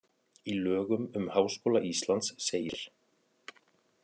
Í lögum um Háskóla Íslands segir: